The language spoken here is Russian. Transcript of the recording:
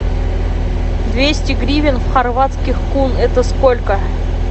двести гривен в хорватских кун это сколько